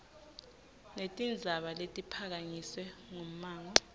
netindzaba letiphakanyiswe ngummango